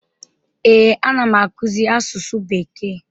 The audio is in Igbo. Ee, anam akụzi asụsụ bekee.